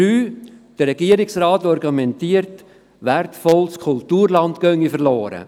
Drittens: Der Regierungsrat argumentiert, es gehe wertvolles Kulturland verloren.